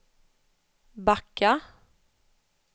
backa